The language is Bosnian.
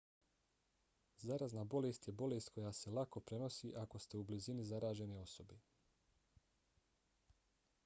zarazna bolest je bolest koja se lako prenosi ako ste u blizini zaražene osobe